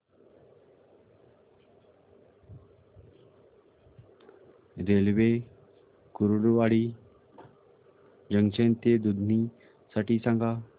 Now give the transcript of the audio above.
railway Kurduwadi junction ते दुधनी साठी सांगा